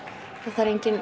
það